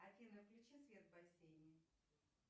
афина включи свет в бассейне